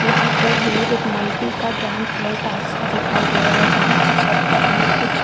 यहाँ पर हमें एक मल्टी का ग्राउंड फ्लोर टाइप्स का दिखाई दे रहा है जहाँ की छत पर हमें कुछ--